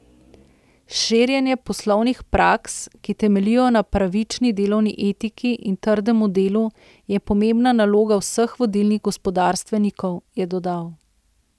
Širjenje poslovnih praks, ki temeljijo na pravični delovni etiki in trdemu delu, je pomembna naloga vseh vodilnih gospodarstvenikov, je dodal.